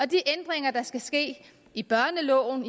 de ændringer der skal ske i børneloven